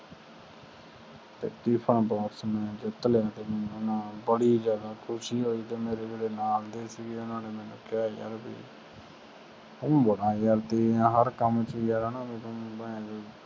tiffin box ਜਿਹੜਾ ਮੈਂ ਜਿੱਤ ਲਿਆ ਨਾ ਬੜੀ ਜਾਦਾ ਮਨੁ ਖੁਸ਼ੀ ਹੋਈ ਤੇ ਮੇਰੇ ਜਿਹੜੇ ਨਾਲ ਦੇ ਸੀ ਨਾ ਓਹਨਾ ਮੇਨੂ ਕਿਹਾ ਤੂੰ ਬੜਾ ਜਾਂਦਾ ਤੇਜ਼ ਆ ਹਰ ਕਾਮ ਚ